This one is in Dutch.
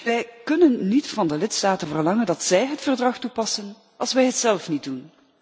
Wij kunnen niet van de lidstaten verlangen dat zij het verdrag toepassen als wij het zelf niet doen.